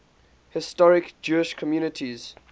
historic jewish communities